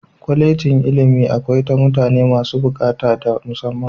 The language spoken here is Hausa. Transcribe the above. Kwallejin ilimi akwai ta mutane masu bukata ta musamman.